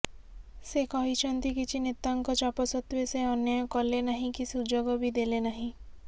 ସେ କହିଛନ୍ତି କିଛି ନେତାଙ୍କ ଚାପ ସତ୍ତ୍ୱେ ସେ ଅନ୍ୟାୟ କଲେନାହିଁ କି ସୁଯୋଗ ବି ଦେଲେନାହିଁ